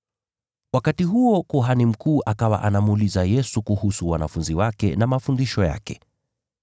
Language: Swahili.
Wakati huo kuhani mkuu akawa anamuuliza Yesu kuhusu wanafunzi wake na mafundisho yake.